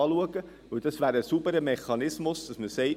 Denn es wäre ein sauberer Mechanismus, dass man sagt: